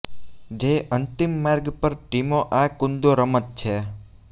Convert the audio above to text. જે અંતિમ માર્ગ પર ટીમો આ કુંદો રમત છે